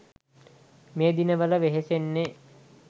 මේ දිනවල වෙහෙසෙන්නෙ.